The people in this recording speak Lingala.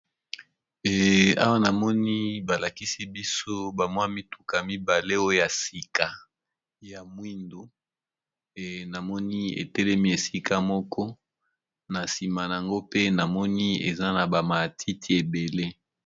Awa namoni ba lakisi biso ba mwa mituka mibale oyo ya sika ya mwindu, namoni etelemi esika moko na nsima nango pe namoni eza na ba matiti ebele.